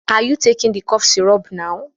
Are you taking the cough syrup now?